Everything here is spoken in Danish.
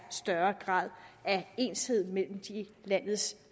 større grad af ensartethed mellem landets